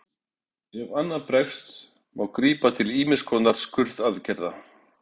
Ef annað bregst má grípa til ýmiss konar skurðaðgerða.